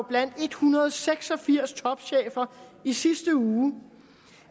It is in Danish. blandt en hundrede og seks og firs topchefer i sidste uge